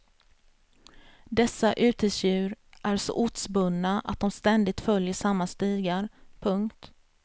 Dessa urtidsdjur är så ortsbundna att de ständigt följer samma stigar. punkt